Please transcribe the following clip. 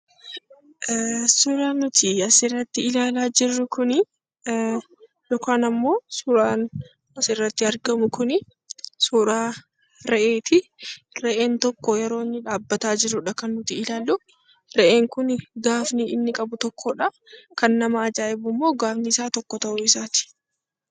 Suuraan nuti asirratti ilaala jirru kun yookaan ammoo suuraan asi irratti argamu kuni suuraa re'eeti. Re'een tokko yeroo inni dhaabataa jirudha kan nuti ilaallu. Re'een kun gaafni inni qabu tokkodha. Kan nama ajaa'ibu ammo gaafni isaa tokko ta'uu isaati.